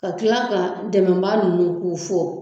Ka tila ka dɛmɛbaa ninnu k'u fɔ